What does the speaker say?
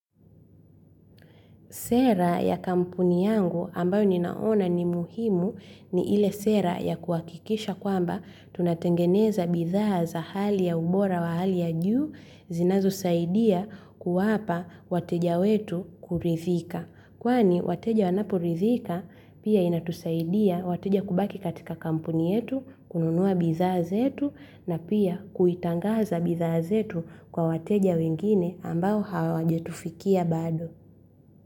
Sera ya kampuni yangu ambayo ninaona ni muhimu ni ile sera ya kuakikisha kwamba tunatengeneza bidhaa za hali ya ubora wa hali ya juu zinazo saidia kuwapa wateja wetu kurithika. Kwani wateja wanaporithika pia inatusaidia wateja kubaki katika kampuni yetu, kununua bidhaa zetu na pia kuitangaza bidhaa zetu kwa wateja wengine ambao hawajatufikia bado.